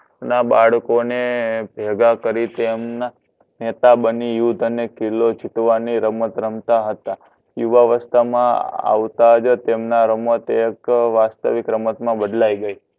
ના બડકો ને ભેગા કરી તેમના નેતા બની યુદ્ધને કિલો જીતવાની રમત રમતા હતા યુવા વિસ્ટા મા આવતાજ તમના રમત એક વસ્તીવિક રમત મા બદલાઈ ગઈ